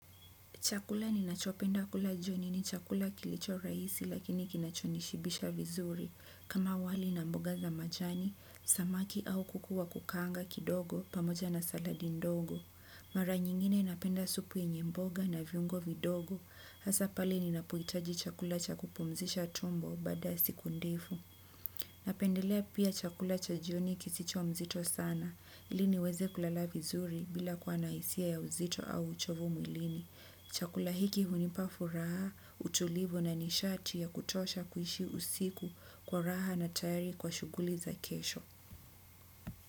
Chakula ninachopenda kula jioni ni chakula kilicho rahisi lakini kinachonishibisha vizuri kama wali na mboga za majani, samaki au kuku wa kukanga kidogo pamoja na saladi ndogo. Mara nyingine napenda supu yenye mboga na viungo vidogo hasa pale ninapohitaji chakula cha kupumzisha tumbo baada siku ndefu. Napendelea pia chakula cha jioni kisicho mzito sana ili niweze kulala vizuri bila kuwa na hisia ya uzito au uchovu mwilini. Chakula hiki hunipa furaha, utulivu na nishati ya kutosha kuishi usiku kwa raha na tayari kwa shughuli za kesho.